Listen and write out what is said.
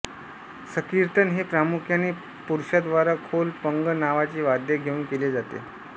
संकीर्तन हे प्रामुख्याने पुरुषांद्वारा खोल पंग नावाचे वाद्य घेऊन केले जाते